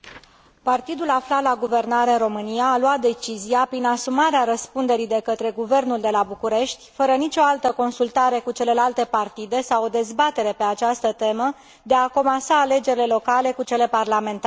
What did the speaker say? Partidul aflat la guvernare în România a luat decizia, prin asumarea răspunderii de către guvernul de la București, fără nici o altă consultare cu celelalte partide sau o dezbatere pe această temă, de a comasa alegerile locale cu cele parlamentare.